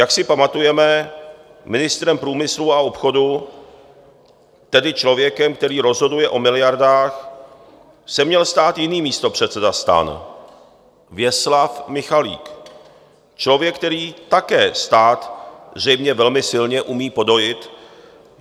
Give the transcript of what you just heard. Jak si pamatujeme, ministrem průmyslu a obchodu, tedy člověkem, který rozhoduje o miliardách, se měl stát jiný místopředseda STAN, Věslav Michalik, člověk, který také stát zřejmě velmi silně umí podojit.